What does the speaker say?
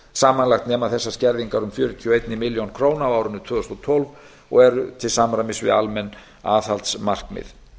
samanlagt nema þessar skerðingar um fjörutíu og eina milljón króna á árinu tvö þúsund og tólf og eru til samræmis við almenn aðhaldsmarkmið